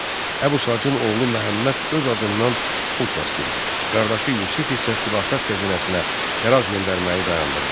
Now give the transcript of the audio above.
Əbu Sacın oğlu Məhəmməd öz adından pul kəsdirirdi, qardaşı Yusif isə xilafət xəzinəsinə xərac göndərməyi dayandırdı.